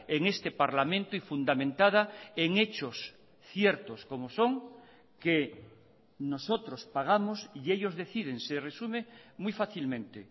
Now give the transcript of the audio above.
en este parlamento y fundamentada en hechos ciertos como son que nosotros pagamos y ellos deciden se resume muy fácilmente